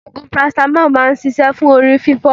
Ogun parasitamo máa ń ṣíṣe fún orí fifo.